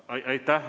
Aitäh!